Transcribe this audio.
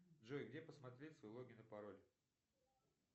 джой где посмотреть свой логин и пароль